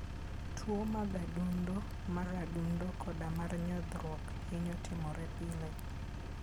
Tuwo mag adundo, mar adundo, koda mar nyodhruok, hinyo timore pile.